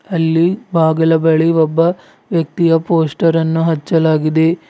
ಅಲ್ಲಿ ಬಾಗಿಲ ಬಳಿ ಒಬ್ಬ ವ್ಯಕ್ತಿಯ ಪೊಸ್ಟರ್ ಅನ್ನು ಹಚ್ಚಲಾಗಿದೆ.